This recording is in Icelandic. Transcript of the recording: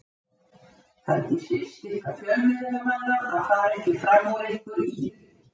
Það er ekki síst ykkar fjölmiðlamanna að fara ekki fram úr ykkur í því.